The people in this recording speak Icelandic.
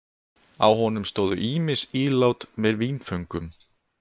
Á honum stóðu ýmis ílát með vínföngum.